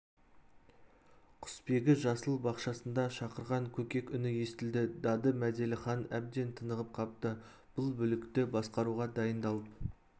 құсбегі жасыл бақшасында шақырған көкек үні естілді дады мәделіхан әбден тынығып қапты бұл бүлікті басқаруға дайындалып